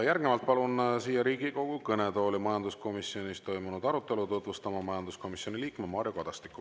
Järgnevalt palun Riigikogu kõnetooli majanduskomisjonis toimunud arutelu tutvustama majanduskomisjoni liikme Mario Kadastiku.